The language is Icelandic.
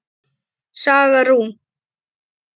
Saga Rún.